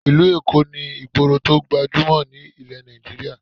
Ìlú Èkó ní ìgboro tó gbajúmọ̀ ní ilẹ̀ Nigeria